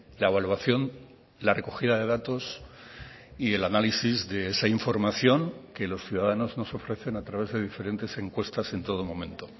la evaluación la recogida de datos y el análisis de esa información que los ciudadanos nos ofrecen a través de diferentes encuestas en todo momento